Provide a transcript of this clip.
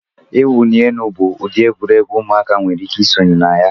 Iwunyi elu bụ ụdị egwuregwu ụmụaka nwere ike isonye na ya.